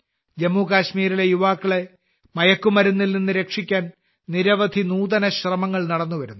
ജമ്മു കശ്മീരിലെ യുവാക്കളെ മയക്കുമരുന്നിൽ നിന്ന് രക്ഷിക്കാൻ നിരവധി നൂതന ശ്രമങ്ങൾ നടന്നുവരുന്നു